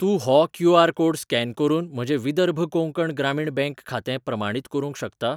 तूं हो QR. Code scan करून म्हजें विदर्भ कोंकण ग्रामीण बँक खातें प्रमाणीत करूंक शकता?